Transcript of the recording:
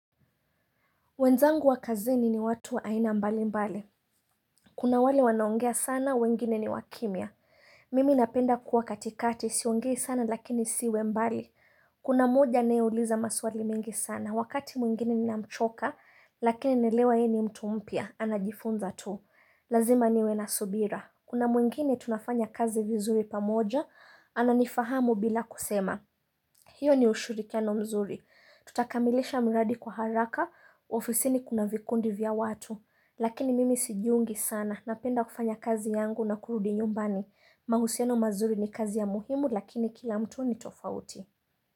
Wenzangu wa kazini ni watu wa aina mbali mbali. Kuna wale wanaongea sana, wengine ni wa kimya. Mimi napenda kuwa katikati, siongei sana lakini siwe mbali. Kuna moja anayeuliza maswali mengi sana. Wakati mwingine ninamchoka, lakini naelewa ye ni mtu mpya, anajifunza tu. Lazima niwe na subira. Kuna mwingine tunafanya kazi vizuri pamoja, ananifahamu bila kusema. Hiyo ni ushirikiano mzuri. Tutakamilisha miradi kwa haraka, ofisini kuna vikundi vya watu. Lakini mimi sijiungi sana. Napenda kufanya kazi yangu na kurudi nyumbani. Mahusiano mazuri ni kazi ya muhimu lakini kila mtu ni tofauti.